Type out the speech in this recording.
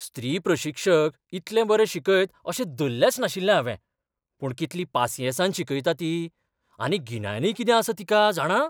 स्त्री प्रशिक्षक इतलें बरें शिकयत अशें धल्लेंच नाशिल्लें हावें, पूण कितली पासियेंसान शिकयता ती. आनी गिन्यानय कितें आसा तिका, जाणा?